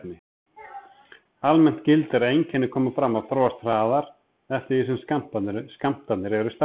Almennt gildir að einkenni koma fram og þróast hraðar eftir því sem skammtarnir eru stærri.